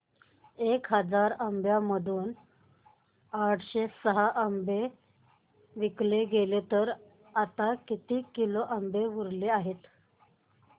एक हजार आंब्यांमधून आठशे सहा विकले गेले तर आता किती आंबे उरले आहेत